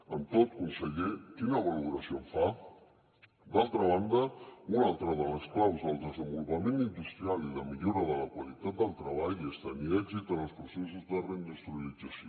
amb tot conseller quina valoració en fa d’altra banda una altra de les claus del desenvolupament industrial i de millora de la qualitat del treball és tenir èxit en els processos de reindustrialització